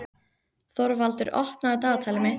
Þorvaldur, opnaðu dagatalið mitt.